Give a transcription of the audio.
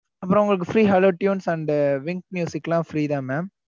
அப்புறம் உங்களுக்கு free hello tunes and wynk லாம் free தான் mam